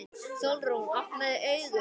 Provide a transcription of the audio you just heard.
Sólrún, opnaðu augun!